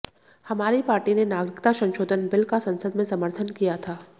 हमारी पार्टी ने नागरिकता संशोधन बिल का संसद में समर्थन किया था